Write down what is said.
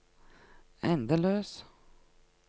endeløs